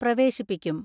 പ്രവേശിപ്പിക്കും.